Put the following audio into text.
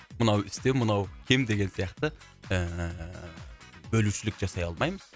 мынау үстем мынау кем деген сияқты ыыы бөлушілік жасай алмаймыз